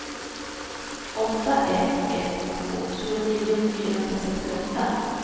åtta ett ett två tjugonio fyrahundrasextioåtta